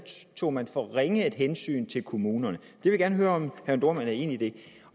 tog man for ringe et hensyn til kommunerne jeg vil gerne høre om herre jørn dohrmann er enig i det